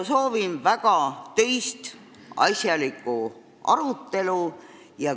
Soovin väga töist asjalikku arutelu.